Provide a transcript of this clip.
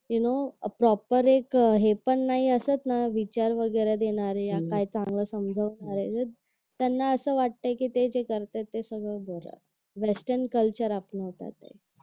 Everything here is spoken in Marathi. यू नो प्रोपर एक हे पण नाही असंच ना विचार वगैरे देणारे अह काही चांगलं समजवणारे त्यांना असं वाटते की ते जे करतात ते सगळं बरोबर आहे व्याख्यान कल्चर आपण म्हणतो